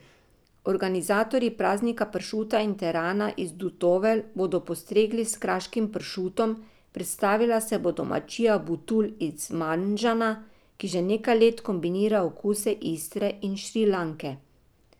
Organizatorji praznika pršuta in terana iz Dutovelj bodo postregli s kraškim pršutom, predstavila se bo domačija Butul iz Manžana, ki že nekaj let kombinira okuse Istre in Šrilanke.